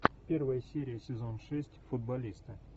первая серия сезон шесть футболисты